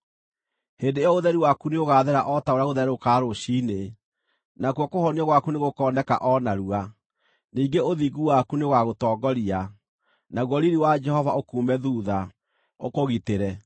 Hĩndĩ ĩyo ũtheri waku nĩũgaathera o ta ũrĩa gũtherũrũkaga rũciinĩ, nakuo kũhonio gwaku nĩgũkooneka o narua; ningĩ ũthingu waku nĩũgagũtongoria, naguo riiri wa Jehova ũkuume thuutha, ũkũgitĩre.